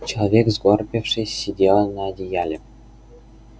человек сгорбившись сидел на одеяле